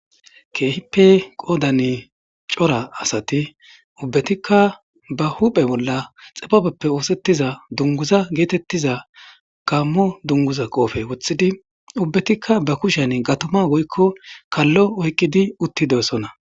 Kehippe qodane cora asati ba huphe bolla xibabeppe othetiza dunguza getetiza Gamo dunguza be qope wothidi ubbatika ba kushen gatuma woykon kalo oykidi uttidosona